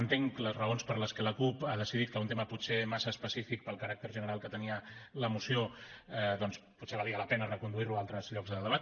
entenc les raons per les quals la cup ha decidit que un tema potser massa específic pel caràcter general que tenia la moció doncs potser valia la pena reconduir lo a altres llocs de debat